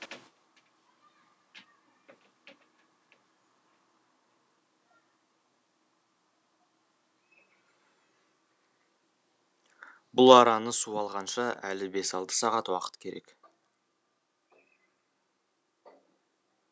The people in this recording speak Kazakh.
бұл араны су алғанша әлі бес алты сағат уақыт керек